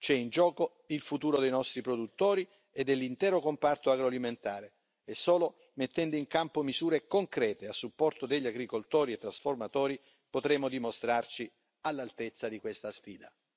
C'è in gioco il futuro dei nostri produttori e dell'intero comparto agroalimentare e solo mettendo in campo misure concrete a supporto degli agricoltori e trasformatori potremo dimostrarci all'altezza di questa sfida.